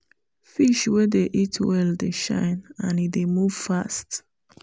fish wey dey eat well dey shine and e dey move fast.